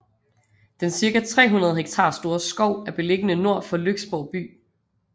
Den cirka 300 hektar store skov er beliggende nord for Lyksborg by